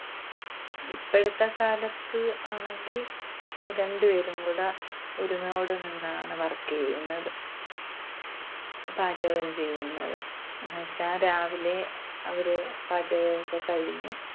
ഇപ്പഴത്തെ കാലത്ത് ആണെങ്കിൽ രണ്ടുപേരും കൂടെ ഒരുമയോടെ നിന്നാണ് work ചെയ്യുന്നത്, പാചകം ചെയ്യുന്നത്. എന്നുവെച്ചാൽ രാവിലെ അവര് പാചകമൊക്കെ കഴിഞ്ഞ്